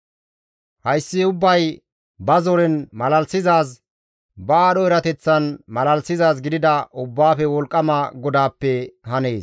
Hayssi ubbay ba zoren malalisizaaz, ba aadho erateththan malalisizaaz gidida Ubbaafe Wolqqama GODAAPPE hanees.